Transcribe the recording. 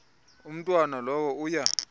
umntwana lowo uya